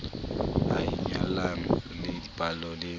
a inyalanyang le dipallo le